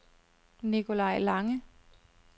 Nicolai Lange